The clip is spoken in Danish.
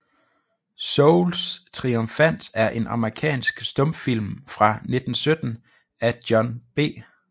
Souls Triumphant er en amerikansk stumfilm fra 1917 af John B